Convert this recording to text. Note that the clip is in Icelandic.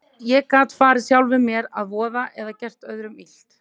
Ég gat farið sjálfum mér að voða eða gert öðrum illt.